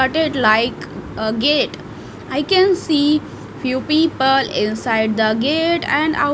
like a gate I can see few people inside the gate and out --